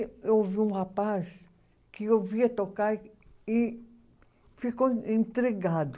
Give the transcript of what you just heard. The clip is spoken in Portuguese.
E eu vi um rapaz que eu via tocar e, e ficou intrigado.